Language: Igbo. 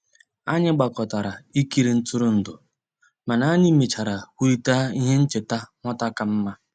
Anyị gbàkọtàrà ìkìrì ntụrụndụ, mànà anyị mèchàrà kwùrịtà íhè nchèta nwata kàmmà.